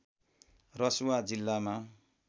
रसुवा जिल्लामा